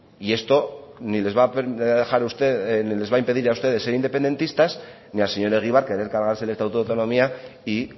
y esto ni les va impedir a ustedes ser independentistas ni al señor egibar querer cargarse el estatuto de autonomía y